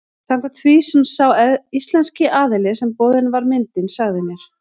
Samkvæmt því sem sá íslenski aðili sem boðin var myndin sagði mér.